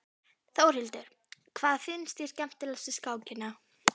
Þórhildur: Hvað finnst þér skemmtilegast við skákina?